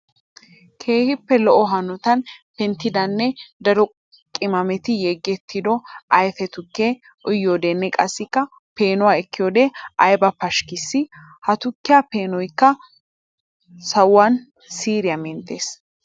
Keehippe lo'o hanotan penttidanne daro qimaametti yegetiddo ayfe tukkiya uyiyodenne qassikka peenuwa ekkiyode aybba pashikkissi! Ha tukkiya peenoykka sawuwan siiriya menttes!